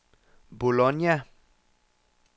Bologna